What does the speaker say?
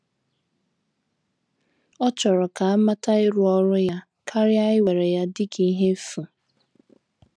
Ọ chọrọ ka amata ịrụ ọrụ ya, karịa iwere ya dịka ihe efu.